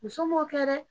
Muso m'o kɛ dɛ